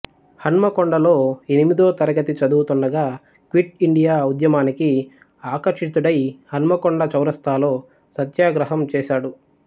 హన్మకొండలో ఎనిమిదోతరగతి చదువుతుండగా quit India ఉద్యమానికి ఆకర్షితుడై హన్మకొండ చౌరస్తాలో సత్యాగ్రహం చేశాడు